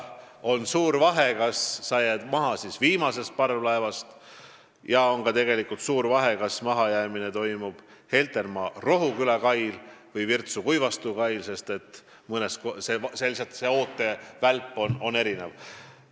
On suur vahe, kas sa jääd maha viimasest parvlaevast, ja on ka suur vahe, kas mahajäämine toimub Heltermaa–Rohuküla kail või Virtsu–Kuivastu kail, sest lihtsalt ootevälp on erinev.